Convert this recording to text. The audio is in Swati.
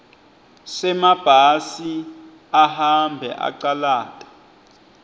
semabhasi ahambe acalata